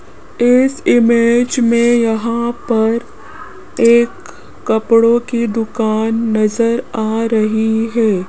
इस इमेज में यहां पर एक कपड़ों की दुकान नजर आ रही है।